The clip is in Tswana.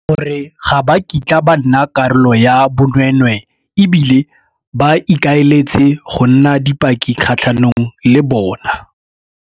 gore ga ba kitla ba nna karolo ya bonweenweee e bile ba ikaeletse go nna dipaki kgatlhanong le bona.